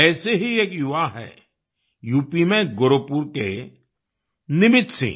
ऐसे ही एक युवा हैं यूपी में गोरखपुर के निमित सिंह